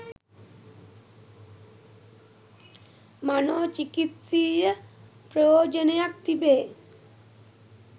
මනෝචිකිත්සීය ප්‍රයෝජනයක් තිබේ.